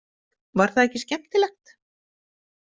Var það ekki skemmtilegt?